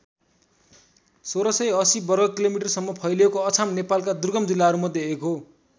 १६८० वर्ग किलोमिटरसम्म फैलिएको अछाम नेपालका दुर्गम जिल्लाहरू मध्ये एक हो।